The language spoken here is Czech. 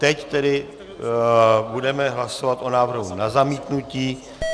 Teď tedy budeme hlasovat o návrhu na zamítnutí.